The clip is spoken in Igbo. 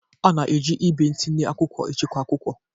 A na-eji igbe ntinye akwụkwọ echekwa akwụkwọ.